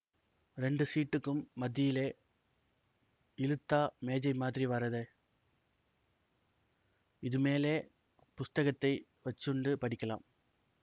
ரெண்டு ஸீட்டுக்கும் மத்தியிலே இழுத்தா மேஜை மாதிரி வரதே இதுமேலே புஸ்தகத்தை வச்சுண்டு படிக்கலாம்